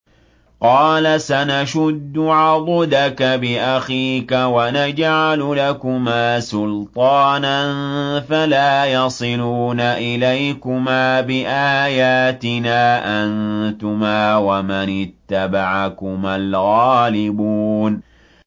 قَالَ سَنَشُدُّ عَضُدَكَ بِأَخِيكَ وَنَجْعَلُ لَكُمَا سُلْطَانًا فَلَا يَصِلُونَ إِلَيْكُمَا ۚ بِآيَاتِنَا أَنتُمَا وَمَنِ اتَّبَعَكُمَا الْغَالِبُونَ